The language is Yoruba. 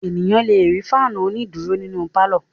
Ènìyàn le rí fáánù onídùúró nínu pálọ̀.